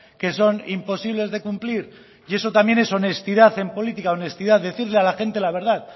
que son imposibles de cumplir y eso también es honestidad en política honestidad decirle a la gente la verdad